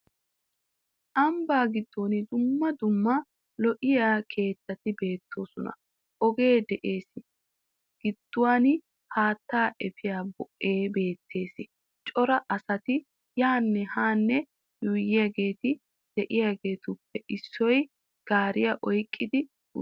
Ambba giddon dumma dumma lo"iya keettati beettoosona ogee de'ees gidduwan haattaa efiya boo'ee beettees. Cora asati yaanne haanne yuuyyiyageeti de'iyageetuppe issoy gaariya oyqqi uttiis.